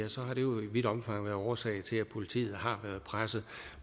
vidt omfang været årsag til at politiet har været presset